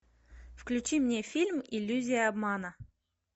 включи мне фильм иллюзия обмана